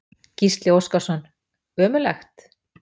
Gísli Óskarsson: Ömurlegt?